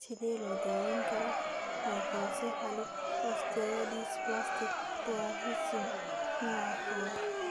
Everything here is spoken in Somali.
Sidee loo daweyn karaa microcephalic osteodysplastic dwarfism nooca kowaad (MOPD koow)?